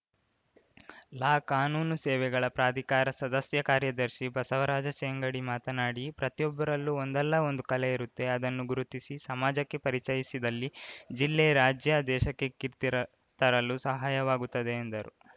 ಲಾ ಕಾನೂನು ಸೇವೆಗಳ ಪ್ರಾಧಿಕಾರ ಸದಸ್ಯ ಕಾರ್ಯದರ್ಶಿ ಬಸವರಾಜ ಶೆಂಗಡಿ ಮಾತನಾಡಿ ಪ್ರತಿಯೊಬ್ಬರಲ್ಲೂ ಒಂದಲ್ಲ ಒಂದು ಕಲೆ ಇರುತ್ತೆ ಅದನ್ನು ಗುರುತಿಸಿ ಸಮಾಜಕ್ಕೆ ಪರಿಚಯಿಸಿದಲ್ಲಿ ಜಿಲ್ಲೆ ರಾಜ್ಯ ದೇಶಕ್ಕೆ ಕೀರ್ತಿ ರ ತರಲು ಸಹಾಯವಾಗುತ್ತದೆ ಎಂದರು